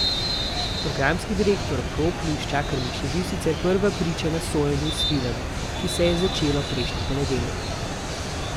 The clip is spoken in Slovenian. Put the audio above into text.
Programski direktor Pro Plus Čakarmiš je bil sicer prva priča na sojenju Svilanu, ki se je začelo prejšnji ponedeljek.